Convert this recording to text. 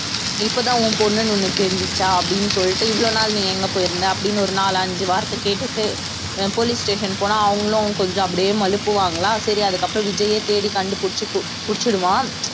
இப்பதான் உன் பொண்ணுன்னு உனக்கு தெரிஞ்சுச்சா அப்படின்னு சொல்லிட்டு இவ்வளவு நாள் நீ எங்க போயிருந்த அப்படின்னு ஒரு நாலு அஞ்சு வார்த்தை கேட்டுட்டு அஹ் police station போனா அவங்களும் கொஞ்சம் அப்படியே மழுப்புவாங்களா சரி அதுக்கப்புறம் விஜய்யை தேடி கண்டுபிடிச்சு பிடிச்சிடுவான்